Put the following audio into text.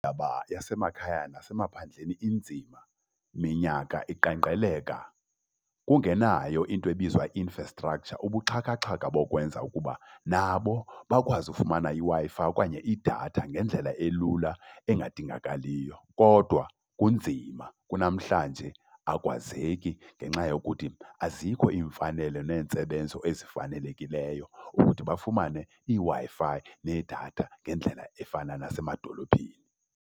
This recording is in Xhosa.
Indaba yasemakhaya nasemaphandleni inzima, minyaka iqenqgeleka kungenayo into ebizwa i-infrastructure, ubuxhakaxhaka bokwenza ukuba nabo bakwazi ufumana iWi-Fi okanye idatha ngendlela elula engadingakaliyo kodwa kunzima. Kunamhlanje akwazeki ngenxa yokuthi azikho iimfanele neentsebenzo ezifanelekileyo ukuthi bafumane iWi-Fi nedatha ngendlela efana nasemadolophini.